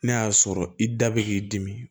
N'a y'a sɔrɔ i da bɛ k'i dimi